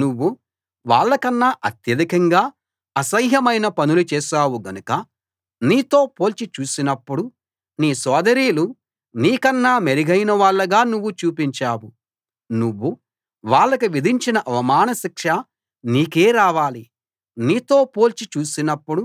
నువ్వు వాళ్ళకన్నా అత్యధికంగా అసహ్యమైన పనులు చేశావు గనుక నీతో పోల్చి చూసినప్పుడు నీ సోదరీలు నీకన్నా మెరుగైనవాళ్ళుగా నువ్వు చూపించావు నువ్వు వాళ్లకు విధించిన అవమాన శిక్ష నీకే రావాలి నీతో పోల్చి చూసినప్పుడు